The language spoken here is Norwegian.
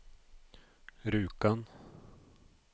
Rjukan